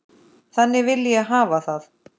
Þannig vil ég hafa það.